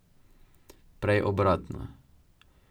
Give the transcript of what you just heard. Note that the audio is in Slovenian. Prej obratno.